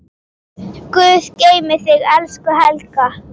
Guð geymi þig, elsku Helga.